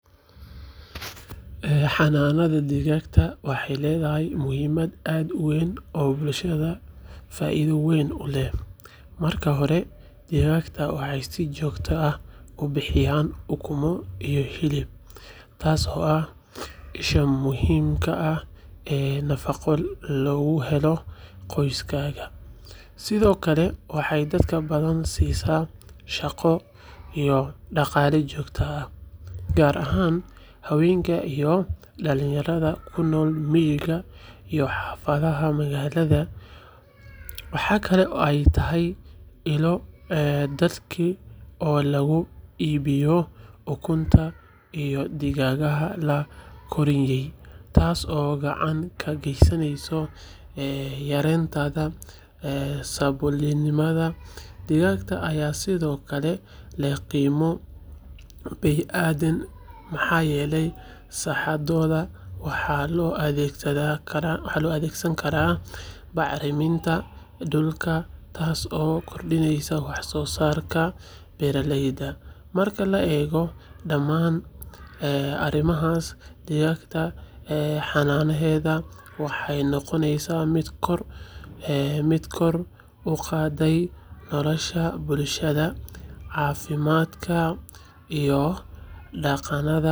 Xanaanaynta digaagga waxay leedahay muhiimad aad u weyn oo bulshada faa’iido weyn u leh. Marka hore, digaagga waxay si joogto ah u bixiyaan ukumo iyo hilib, taasoo ah isha muhiimka ah ee nafaqo loogu helo qoysaska. Sidoo kale, waxay dad badan siisaa shaqo iyo dhaqaale joogto ah, gaar ahaan haweenka iyo dhalinyarada ku nool miyiga iyo xaafadaha magaalada. Waxa kale oo ay tahay ilo dakhli oo lagu iibiyo ukunta iyo digaagga la koryeelay, taasoo gacan ka geysanaysa yareynta saboolnimada. Digaagga ayaa sidoo kale leh qiimo bey’adeed, maxaa yeelay saxadooda waxaa loo adeegsan karaa bacriminta dhulka, taasoo kordhisa wax-soosaarka beeraha. Marka la eego dhamaan arrimahaas, digaagga xanaanayntooda waxay noqonaysaa mid kor u qaadaysa nolosha bulshada, caafimaadka, iyo.